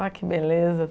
Ah, que beleza!